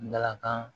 Balantan